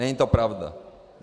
Není to pravda.